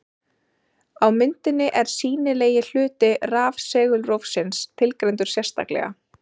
Á myndinni er sýnilegi hluti rafsegulrófsins tilgreindur sérstaklega.